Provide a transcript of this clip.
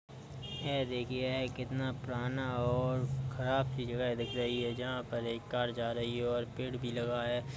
यहाँ देखिये यह कितना पुराना और ख़राब सी जगह दिख रही है जहाँ पर एक कार जा रही है और पेड़ भी लगा है।